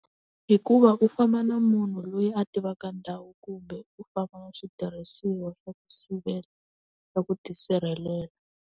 Hikuva u famba na munhu loyi a tivaka ndhawu kumbe u famba na switirhisiwa swa ku sivela, swa ku tisirhelela.